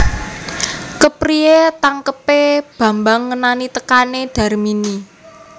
Kepriyé tangkebé Bambang ngenani tekané Darmini